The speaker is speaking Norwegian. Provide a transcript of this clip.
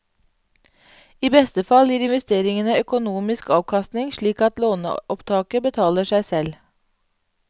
I beste fall gir investeringene økonomisk avkastning slik at låneopptaket betaler seg selv.